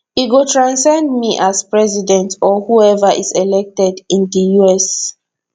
e go transcend me as president or whoever is elected in di us